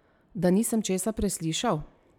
Da nisem česa preslišal?